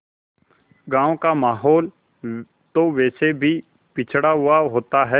गाँव का माहौल तो वैसे भी पिछड़ा हुआ होता है